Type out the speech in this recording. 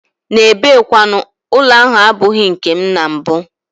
N'ebe kwanu, ụlọ ahụ abụghị nkem na mbụ.